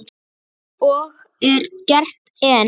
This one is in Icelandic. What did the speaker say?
Og er gert enn.